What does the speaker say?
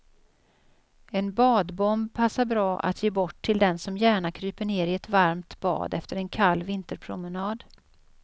En badbomb passar bra att ge bort till den som gärna kryper ner i ett varmt bad efter en kall vinterpromenad.